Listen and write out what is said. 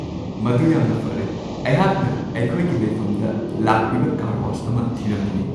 ꯃꯗꯨ ꯌꯥꯝꯅ ꯐꯔꯦ ! ꯑꯩꯍꯥꯛꯅ ꯑꯩꯈꯣꯏꯒꯤ ꯂꯩꯐꯝꯗ ꯂꯥꯛꯄꯤꯕ ꯀꯥꯔ ꯋꯥꯁ ꯑꯃ ꯊꯤꯔꯝꯃꯤꯅꯦ ꯫